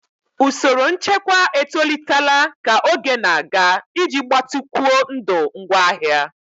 Usoro nchekwa etolitela ka oge na-aga iji gbatịkwuo ndụ ngwaahịa.